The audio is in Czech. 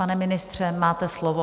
Pane ministře, máte slovo.